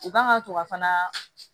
U kan ka to ka fana